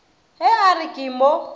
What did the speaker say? ge a re ke mo